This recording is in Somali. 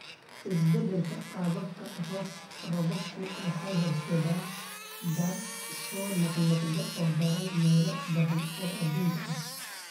Isbeddelka qaababka roobabku waxay horseedaan daadad soo noqnoqda oo daran meelo badan oo adduunka ah.